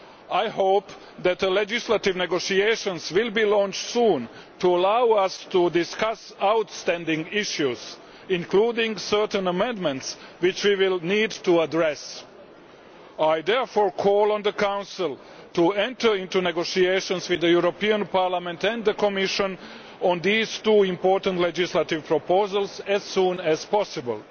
I hope that legislative negotiations will be launched soon to allow us to discuss outstanding issues, including certain amendments which we will need to address. I call therefore on the Council to enter into negotiations with the European Parliament and the Commission on these two important legislative proposals as soon as possible.